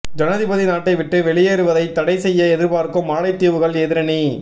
ஜனாதிபதி நாட்டை விட்டு வெளியேறுவதை தடை செய்ய எதிர்பார்க்கும் மாலைதீவுகள் எதிரணி